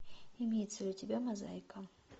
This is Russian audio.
имеется ли у тебя мозаика